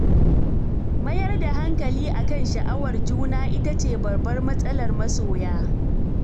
Mayar da hankali a kan sha'awar juna ita ce babbar matsalar masoya.